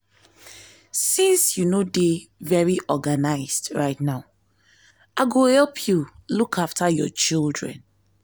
since you no dey very organized right now i go help you look after your children